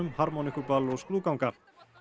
harmonikkuball og skrúðganga